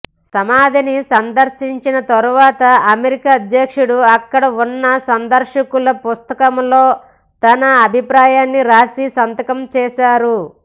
సమాధిని సందర్శించిన తర్వాత అమెరికా అధ్యక్షుడు అక్కడ ఉన్న సందర్శకుల పుస్తకంలో తన అభిప్రాయాన్ని రాసి సంతకం చేశారు